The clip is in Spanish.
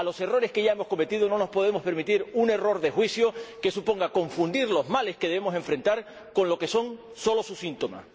A los errores que ya hemos cometido no nos podemos permitir añadir un error de juicio, que suponga confundir los males que debemos afrontar con lo que son solo sus síntomas.